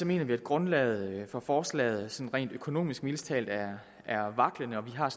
mener vi at grundlaget for forslaget rent økonomisk mildest talt er er vaklende og vi har